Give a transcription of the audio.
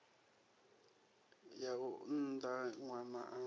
ya u unḓa ṅwana a